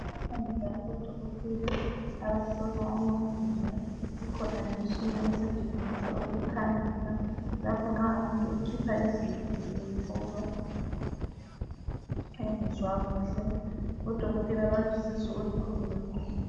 Bakhona odokotela abahlola amaznyo, kukhona lemitshina esetshenziswa ukukhanyisa lapho nxs umuntu ekhitshwa izinyo kumbe ehlolwa engezwa kuhle. Odokotela balusizo olukhulu kakhulu.